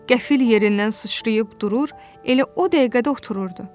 Qəfil yerindən suçrayıb durur, elə o dəqiqədə otururdu.